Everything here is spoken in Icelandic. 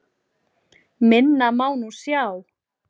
Minna má nú sjá.